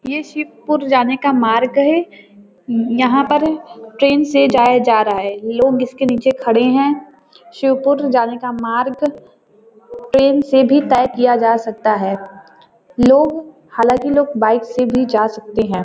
ये शिवपुर जाने का मार्ग है। उम्म यहाँ पर ट्रेन से जाया जा रहा है लोग इसके नीचे खड़े हैं। शिवपुर जाने का मार्ग ट्रेन से भी तय किया जा सकता है। लोग हालांकि लोग बाइक से भी जा सकते है।